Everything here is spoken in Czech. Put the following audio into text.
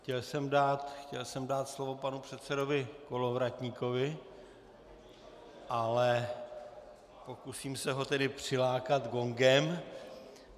Chtěl jsem dát slovo panu předsedovi Kolovratníkovi, ale pokusím se ho tedy přilákat gongem.